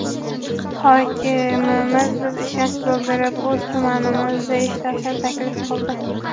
Hokimimiz bizga ishonch bildirib, o‘z tumanimizda ishlashni taklif qildi.